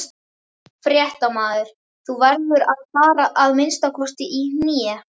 Fréttamaður: Þú verður að fara að minnsta kosti í hné?